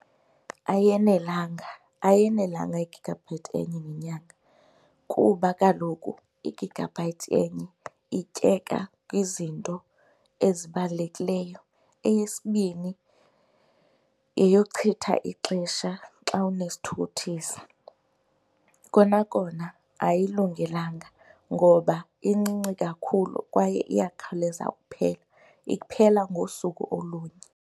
Ayenelanga. Ayenelanga igigabhayithi enye ngenyanga kuba kaloku igigabhayithi enye ityeka kwizinto ezibalulekileyo. Eyesibini yeyochitha ixesha xa unesithukuthezi. Kona kona ayilungelanga ngoba incinci kakhulu kwaye iyakhawuleza uphela, iphela ngosuku olunye.